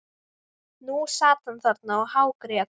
Nú sat hann þarna og hágrét.